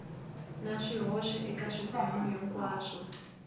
na swihoxo eka swiphemu hinkwaswo